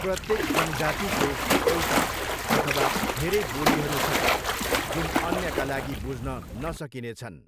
प्रत्येक जनजातिको एउटा अथवा धेरै बोलीहरू छन् जुन अन्यका लागि बुझ्न नसकिने छन्।